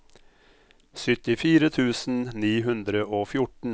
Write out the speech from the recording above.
syttifire tusen ni hundre og fjorten